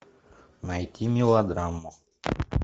найти мелодраму